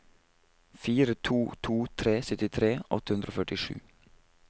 fire to to tre syttitre åtte hundre og førtisju